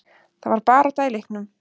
Það var barátta í leiknum.